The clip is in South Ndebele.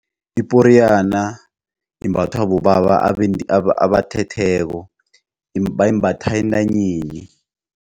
Iporiyana imbathwa bobaba abathetheko bayimbatha entanyeni.